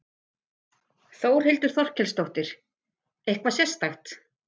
Þórhildur Þorkelsdóttir: Eitthvað sérstakt?